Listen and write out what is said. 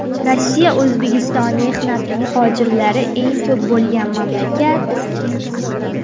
Rossiya O‘zbekiston mehnat muhojirlari eng ko‘p bo‘lgan mamlakat.